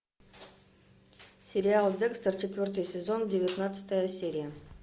сериал декстер четвертый сезон девятнадцатая серия